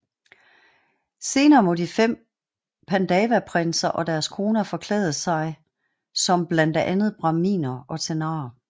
Senere må de fem pandavaprinser og deres koner forklæde sig som blandt andet brahminer og tenarer